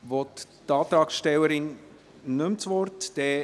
Wünscht die Antragstellerin das Wort nicht mehr?